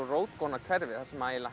rótgróna hverfi þar sem